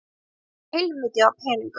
Barasta heilmikið af peningum.